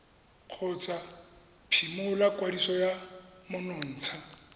kgotsa phimola kwadiso ya menontsha